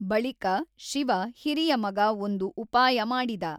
ಬಳಿಕ ಶಿವ ಹಿರಿಯ ಮಗ ಒಂದು ಉಪಾಯ ಮಾಡಿದ.